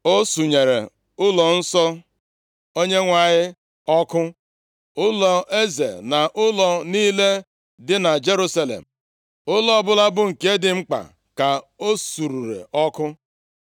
O sunyere ụlọnsọ Onyenwe anyị ọkụ, ụlọeze na ụlọ niile dị na Jerusalem, ụlọ ọbụla bụ nke dị mkpa ka o surere ọkụ